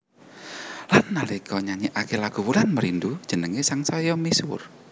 Lan nalika nyanyékaké lagu Wulan Merindu jenengé sangsaya misuwur